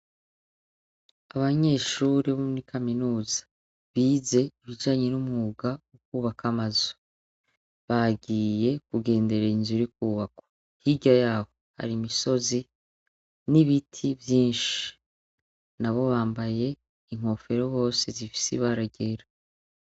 Abanyeshure bo muri Kaminuza bize ibijanye n'umwuga wo kwubaka amazu, bagiye kugenderera inzu iri kwubakwa, hirya yaho hari imisozi n'ibiti vyinshi nabo bambaye inkofero Bose zifise ibara ryera .